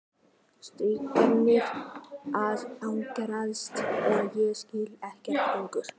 Stingirnir að ágerast og ég skil ekkert lengur.